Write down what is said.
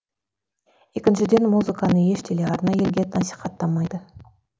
екіншіден музыканы еш телеарна елге насихаттамайды